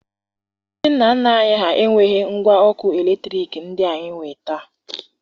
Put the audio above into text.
Ndị nna nna anyị enweghi ngwa ọkụ eletriki ndị anyị nwee taa